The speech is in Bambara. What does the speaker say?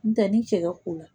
N tɛ ni cɛ ka ko la